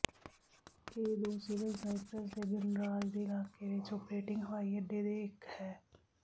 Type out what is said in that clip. ਇਹ ਦੋ civil Cyprus ਦੇ ਗਣਰਾਜ ਦੇ ਇਲਾਕੇ ਵਿੱਚ ਓਪਰੇਟਿੰਗ ਹਵਾਈ ਅੱਡੇ ਦੇ ਇੱਕ ਹੈ